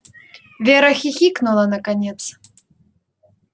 вера хихикнула наконец